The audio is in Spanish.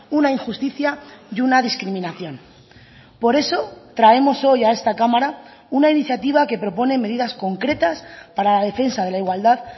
una injusticia y una discriminación por eso traemos hoy a esta cámara una iniciativa que propone medidas concretas para la defensa de la igualdad